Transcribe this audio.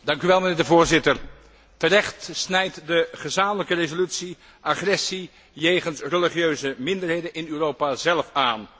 Mijnheer de Voorzitter, terecht snijdt de gezamenlijke resolutie agressie jegens religieuze minderheden in Europa zelf aan.